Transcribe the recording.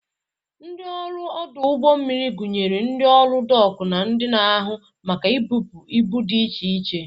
Ndị ọrụ ọdụ ụgbọ mmiri gụnyere ndị ọrụ dọk na ndị na-ahụ maka ibụpu ibu dị iche iche.